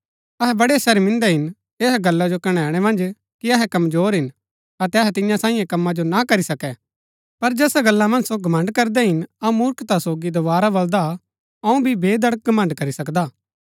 अहै बड़ै शर्मिन्दा हिन ऐहा गल्ला जो कणैणै मन्ज कि अहै कमजोर हिन अतै अहै तियां सांईयै कमा जो ना करी सकै पर जैसा गल्ला मन्ज सो घमण्ड़ करदै हिन अऊँ मूर्खता सोगी दोवारा बलदा हा अऊँ भी बेधड़क घमण्ड़ करी सकदा हा